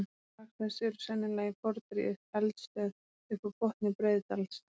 Upptök lagsins eru sennilega í fornri eldstöð upp af botni Breiðdals.